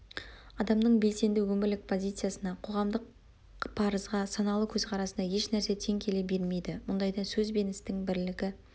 адамның белсенді өмірлік позициясына қоғамдық парызға саналы көзқарасына еш нәрсе тең келе бермейді мұндайда сөз бен істің бірлігі